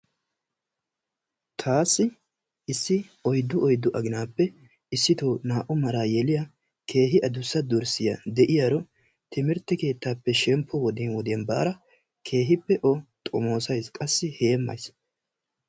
Taassi issi oyddu oyddu aginaappe issitoo naa'u maraa yeliya keehi adussa dorssiya de'iyaro timirtte keettaappe shemppo wodiyan wodiyan baada keehiippe o xomoosayssi qassi heemmayssi.